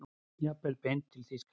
Jafnvel beint til Þýskalands.